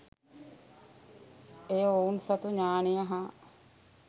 එය ඔවුන් සතු ඤාණය හා